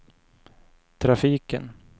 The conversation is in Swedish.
trafiken